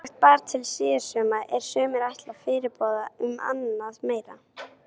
Ýmislegt bar til síðsumars er sumir ætla fyrirboða um annað meira.